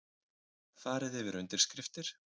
Farið yfir undirskriftir